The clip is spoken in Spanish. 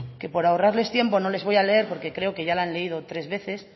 que por ahorrarles tiempo no les voy a leer porque creo que ya la han leído tres veces